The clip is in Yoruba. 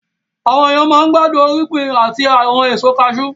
Àwọn èèyàn máa n gbádùn irúgbìn àti àwọn ẹ̀so kaasú